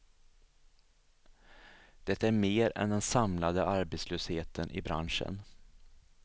Det är mer än den samlade arbetslösheten i branschen.